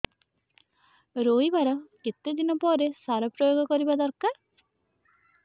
ରୋଈବା ର କେତେ ଦିନ ପରେ ସାର ପ୍ରୋୟାଗ କରିବା ଦରକାର